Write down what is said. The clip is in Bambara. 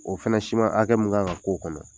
O fana siman hakɛ mu kan ka k'o kɔnɔ